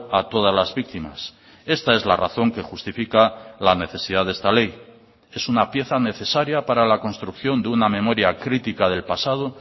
a todas las víctimas esta es la razón que justifica la necesidad de esta ley es una pieza necesaria para la construcción de una memoria crítica del pasado